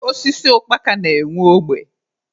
Osisi ukpaka na-enwe ogbe.